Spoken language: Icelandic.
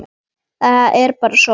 Það er bara svona!